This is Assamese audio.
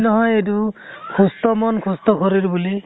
নহয় এইটো সুস্থ মন সুস্থ শৰীৰ বুলি